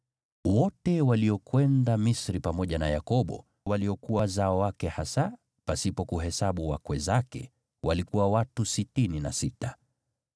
Wote waliokwenda Misri pamoja na Yakobo, waliokuwa wazao wake hasa pasipo kuhesabu wakwe zake, walikuwa watu sitini na sita.